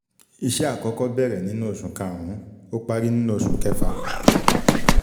Iṣẹ́ àkọ́kọ́ bẹ̀rẹ̀ nínú oṣù kàrún-ún, ó parí nínú oṣù kẹfà.